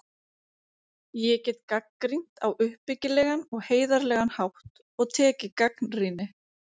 Ég get gagnrýnt á uppbyggilegan og heiðarlegan hátt og tekið gagnrýni.